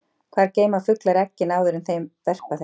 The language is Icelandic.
Hvar geyma fuglar eggin áður en þeir verpa þeim?